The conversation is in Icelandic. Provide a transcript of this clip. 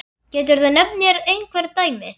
Geturðu nefnt mér einhver dæmi?